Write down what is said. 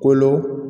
Kolo